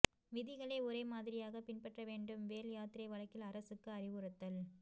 விதிகளை ஒரே மாதிரியாக பின்பற்ற வேண்டும் வேல் யாத்திரை வழக்கில் அரசுக்கு அறிவுறுத்தல்